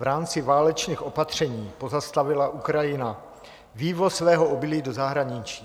V rámci válečných opatření pozastavila Ukrajina vývoz svého obilí do zahraničí.